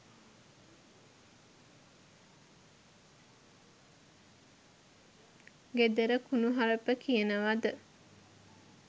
ගෙදර කුණුහරුප කියනවද